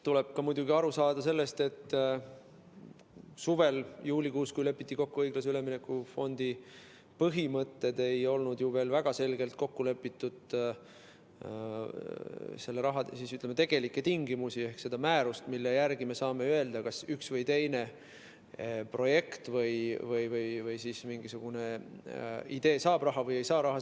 Tuleb muidugi aru saada sellest, et suvel, juulikuus, kui lepiti kokku õiglase ülemineku fondi põhimõtted, ei olnud ju veel väga selgelt kokku lepitud tegelikke tingimusi ehk ei olnud seda määrust, mille järgi me saame öelda, kas üks või teine projekt või mingisugune idee saab või ei saa raha.